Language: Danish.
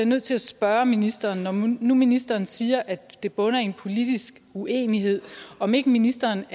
nødt til at spørge ministeren når nu ministeren siger at det bunder i en politisk uenighed om ikke ministeren